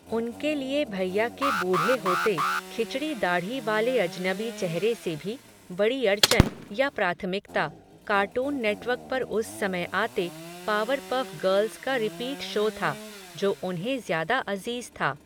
उनके लिए भैया के बूढ़े होते, खिचड़ी दाढ़ी वाले अजनबी चेहरे से भी, बड़ी अड़चन, या प्राथमिकता, कार्टून नेटवर्क पर उस समय आते, पावर पफ़ गर्ल्स का रिपीट शो था, जो उन्हें ज़्यादा अज़ीज़ था